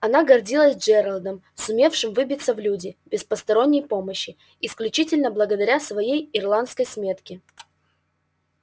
она гордилась джералдом сумевшим выбиться в люди без посторонней помощи исключительно благодаря своей ирландской смётке